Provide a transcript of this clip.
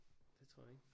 Det tror jeg ikke